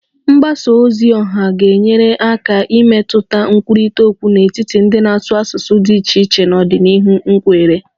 Mgbasa ozi oha ga-enyere aka imetụta nkwurịta okwu n'etiti ndị na-asụ asụsụ dị iche iche n'ọdịnihu m kweere